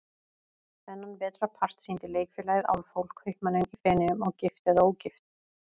Þennan vetrarpart sýndi Leikfélagið Álfhól, Kaupmanninn í Feneyjum og Gift eða ógift?